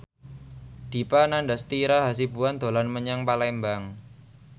Dipa Nandastyra Hasibuan dolan menyang Palembang